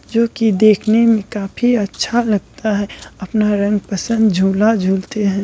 जो कि देखने में काफी अच्छा लगता है अपना रंग पसंद झूला झूलते है।